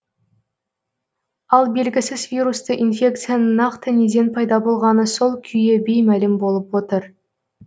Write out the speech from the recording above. ал белгісіз вирусты инфекцияның нақты неден пайда болғаны сол күйі беймәлім болып отыр